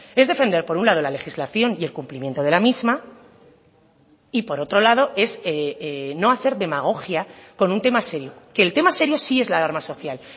es defender por un lado la legislación y el cumplimiento de la misma y por otro lado es no hacer demagogia con un tema serio que el tema serio sí es la alarma social